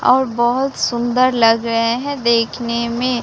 और बहोत सुंदर लग रहे हैं देखने में--